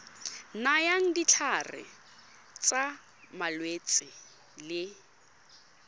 nayang ditlhare tsa malwetse le